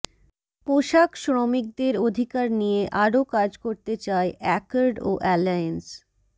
পোশাক শ্রমিকদের অধিকার নিয়ে আরো কাজ করতে চায় অ্যাকর্ড ও অ্যালায়েন্স